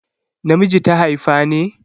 Na miji ta haifa ne?